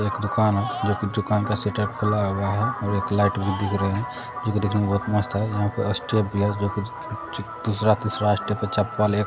एक दुकान है जो कि दुकान का शटर खुला हुआ है और एक लाइट भी दिख रहे है जो कि दिखने में बहुत मस्त है यहां पे स्टेप भी है जो कुछ दूसरा-तीसरा स्टेप पे चप्पल एक --